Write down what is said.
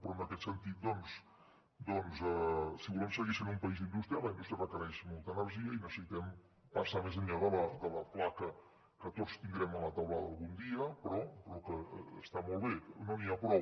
però en aquest sentit doncs si volem seguir sent un país industrial la indústria requereix molta energia i necessitem passar més enllà de la placa que tots tindrem a la teulada algun dia que està molt bé però no n’hi ha prou